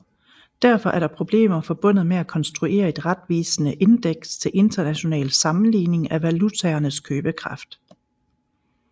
Derfor er der problemer forbundet med at konstruere et retvisende indeks til international sammenligning af valutaernes købekraft